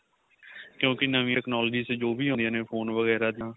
ਕਿਉਂਕਿ ਨਵੀ technology ਜੋ ਵੀ ਆਦੀਆਂ ਨੇ phone ਵਗੈਰਾ ਜਾਂ